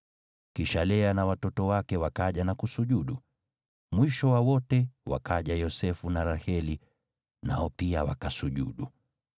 Kisha Lea na watoto wake wakaja na kusujudu. Mwisho wa wote wakaja Yosefu na Raheli, nao pia wakasujudu.